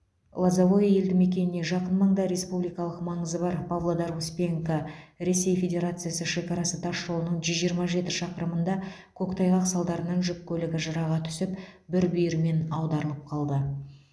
лозовое елді мекеніне жақын маңда республикалық маңызы бар павлодар успенка ресей федерациясы шекарасы тасжолының жүз жиырма жеті шақырымында көктайғақ салдарынан жүк көлігі жыраға түсіп бір бүйірімен аударылып қалды